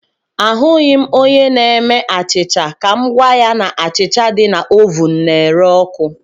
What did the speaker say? Ahụghị m onye na-eme achịcha ka m gwa ya na achịcha dị na ovụn na-ere ọkụ